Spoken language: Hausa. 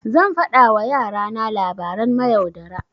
Zan faɗa wa yara na labaran mayaudara.